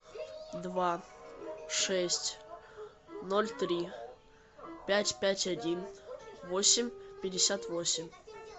два шесть ноль три пять пять один восемь пятьдесят восемь